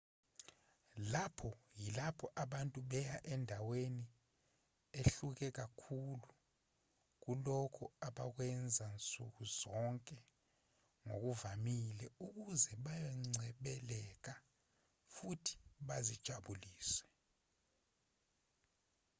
lapha yilapho abantu beya endaweni ehluke kakhulu kulokho abakwenza nsukuzonke ngokuvamile ukuze bayoncebeleka futhi bazijabulise